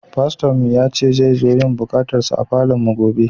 Fasto'n mu ya ce zai zo yin kubatarswa a falon mu gobe.